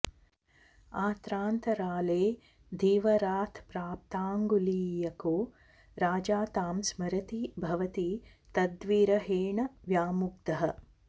आत्रान्तराले धीवरात्प्राप्ताङ्गुलीयको राजा तां स्मरति भवति तंद्विरहेण व्यामुग्धः